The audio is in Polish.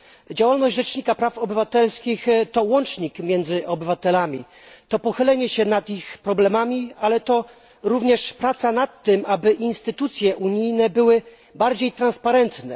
Działalność Rzecznika Praw Obywatelskich to łącznik między obywatelami, to pochylenie się nad ich problemami, ale to również praca nad tym, aby instytucje unijne były bardziej transparentne.